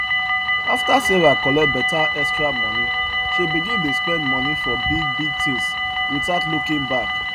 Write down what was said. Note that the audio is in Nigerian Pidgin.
after sarah collect better extra money she begin dey spend money for big big things without looking back